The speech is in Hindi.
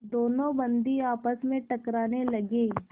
दोनों बंदी आपस में टकराने लगे